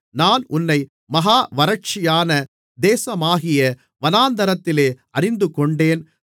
நான் உன்னை மகா வறட்சியான தேசமாகிய வனாந்திரத்திலே அறிந்துகொண்டேன்